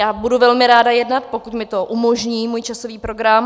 Já budu velmi ráda jednat, pokud mi to umožní můj časový program.